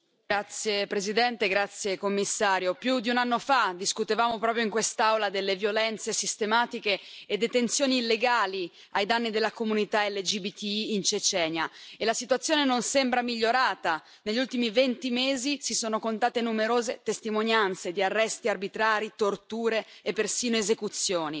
Signor Presidente, onorevoli colleghi, grazie Commissario, più di un anno fa, discutevamo proprio in quest'Aula delle violenze sistematiche e detenzioni illegali ai danni della comunità LGBTI in Cecenia e la situazione non sembra migliorata. Negli ultimi venti mesi si sono contate numerose testimonianze di arresti arbitrari, torture e persino esecuzioni